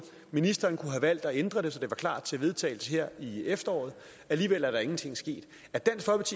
ministeren kunne have valgt at ændre det så det var klart til vedtagelse her i efteråret alligevel er der ingenting sket